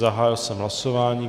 Zahájil jsem hlasování.